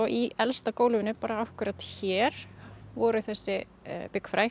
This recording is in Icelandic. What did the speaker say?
í elsta gólfinu bara akkúrat hér voru þessi